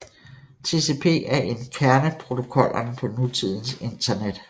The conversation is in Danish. TCP er en af kerneprotokollerne på nutidens Internet